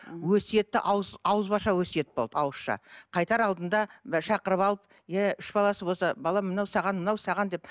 өсиетті ауызбаша өсиет болды ауызша қайтар алдында шақырып алып иә үш баласы болса балам мынау саған мынау саған деп